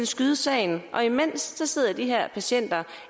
skyde sagen og imens sidder de her patienter